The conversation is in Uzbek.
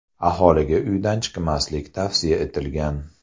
Aholiga uydan chiqmaslik tavsiya etilgan.